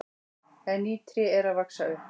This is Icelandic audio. En ný tré eru að vaxa upp.